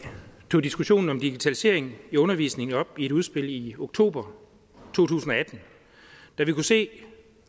tog diskussionen om digitalisering i undervisningen op i et udspil i oktober to tusind og atten da vi kunne se